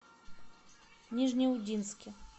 нижнеудинске